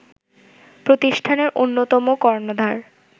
প্রতিষ্ঠানের অন্যতম কর্ণধার